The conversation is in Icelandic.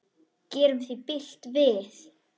Gerum því bylt við.